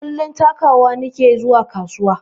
Kullum takawa nike zuwa kasuwa